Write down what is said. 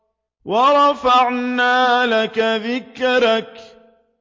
وَرَفَعْنَا لَكَ ذِكْرَكَ